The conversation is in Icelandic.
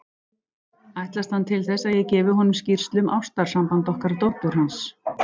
Ætlast hann til þess, að ég gefi honum skýrslu um ástarsamband okkar dóttur hans?